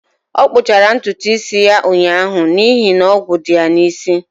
Ọ kpụchara ntutu isi ya ụnyaahụ n'ihi na ogwu dị ya n'isi